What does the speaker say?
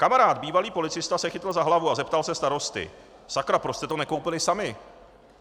Kamarád bývalý policista se chytl za hlavu a zeptal se starosty: "Sakra, proč jste to nekoupili sami?"